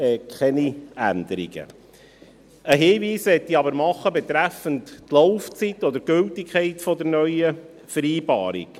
Einen Hinweis möchte ich machen betreffend die Laufzeit oder die Gültigkeit der neuen Vereinbarung: